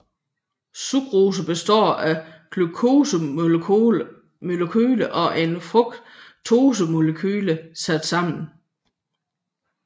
Sukrose består af et glukosemolekyle og et fruktosemolekyle sat sammen